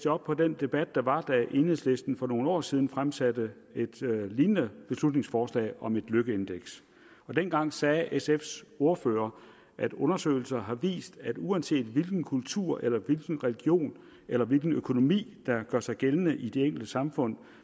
op på den debat der var da enhedslisten for nogle år siden fremsatte et lignende beslutningsforslag om et lykkeindeks dengang sagde sf’s ordfører at undersøgelser har vist at uanset hvilken kultur eller hvilken religion eller hvilken økonomi der gør sig gældende i de enkelte samfund